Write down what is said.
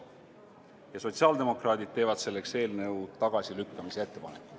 Ja sotsiaaldemokraadid teevad selleks eelnõu tagasilükkamise ettepaneku.